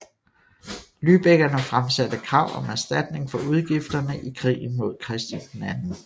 Lübeckerne fremsatte krav om erstatning for udgifterne i krigen mod Christian 2